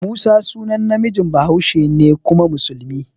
Musa sunan namiji bahaushe ne kuma musulmi.